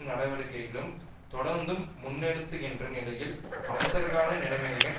நடவடிக்கைகளையும் தொடர்ந்தும் முன்னெடுக்கின்ற நிலையில் அவசரகால நிலைமையும்